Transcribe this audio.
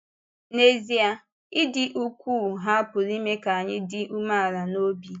N’ezie, ịdị́ ukwuu ha pụrụ ime ka anyị dị umeala n’obi!